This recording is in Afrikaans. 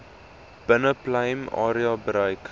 binneplein area bereik